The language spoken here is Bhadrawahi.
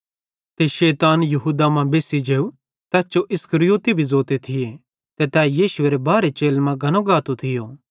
ते शैतान यहूदा मां बेस्सी जेव तैस जो इस्करियोती भी ज़ोते थिये ते तै यीशु एरे बारहे चेलन मां गनो गातो थियो